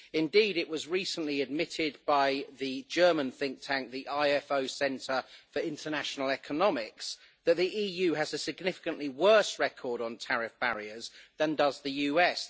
Indeed, it was recently admitted by the German think tank, the IFO Centre for International Economics, that the EU has a significantly worse record on tariff barriers than does the US.